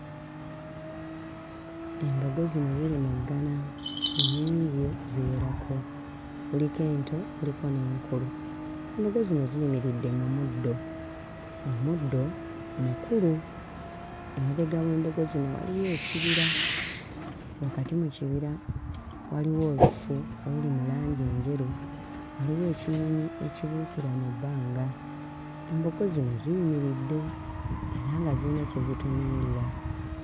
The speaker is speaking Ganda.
Embogo zino ziri mu ggana nnyingi ziwerako, kuliko ento kuliko n'enkulu. Embogo zino ziyimiridde mu muddo, omuddo mukulu. Emabega w'embogo zino waliyo ekibira, wakati mu kibira waliyo olufu oluli mu langi enjeru, waliyo ekinyonyi ekibuukira mu bbanga. Embogo zino ziyimiirdde era nga ziyina kye zitunuulira.